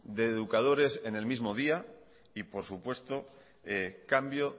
de educadores en el mismo día y por supuesto cambio